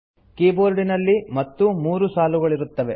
ಕೀಬೋರ್ಡಿನಲ್ಲಿ ಮತ್ತೂ ಮೂರು ಸಾಲುಗಳಿರುತ್ತವೆ